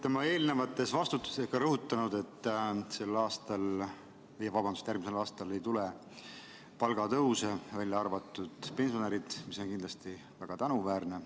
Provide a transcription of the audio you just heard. Te olete oma eelnevates vastustes rõhutanud, et järgmisel aastal ei tule palgatõuse, välja arvatud pensionäridel, mis on väga tänuväärne.